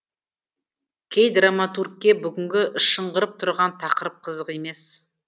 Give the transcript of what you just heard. кей драматургке бүгінгі шыңғырып тұрған тақырып қызық емес